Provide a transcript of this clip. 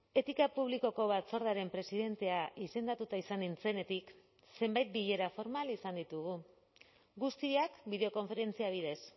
etika publikoko batzordearen presidentea izendatuta izan nintzenetik zenbait bilera formal izan ditugu guztiak bideokonferentzia bidez